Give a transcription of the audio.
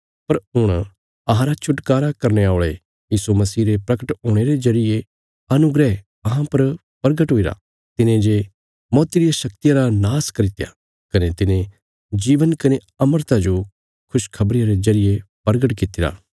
पर हुण अहांरा छुटकारा करने औल़े यीशु मसीह रे प्रगट हुणे रे जरिये अनुग्रह अहां पर प्रगट हुईरा तिने जे मौती रिया शक्तिया रा नाश करित्या कने तिने जीवन कने अमरता जो खुशखबरिया रे जरिये प्रगट कित्तिरा